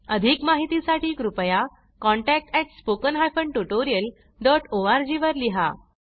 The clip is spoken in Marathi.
अधिक माहिती साठी कृपया contactspoken tutorialorg वर लिहा